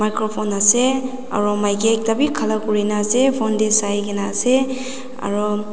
microphone ase aru maiki ekta bi khara kori na ase phone te saina ase aru.